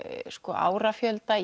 árafjölda